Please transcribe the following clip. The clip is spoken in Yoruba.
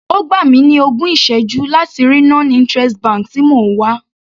Ó gbà mi ní ogún ìsẹ́jú láti rí non interest bank tí mò ń wá.